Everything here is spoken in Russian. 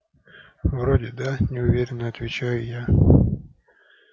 вроде да неуверенно отвечаю я